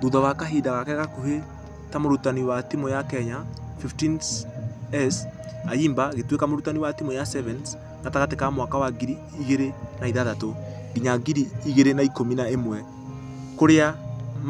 Thutha wa kahinda gake gakuhĩ ta mũrutani wa timũ ya kenya 15s, ayimba agĩtueka mũrutani wa timũ ya sevens gatagatĩ ka mwaka wa ngiri igĩrĩ na ithathatũ. Nginya ngiri igĩrĩ na ikũmi na ĩmwe . Kũrĩa